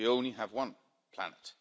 We only have one planet.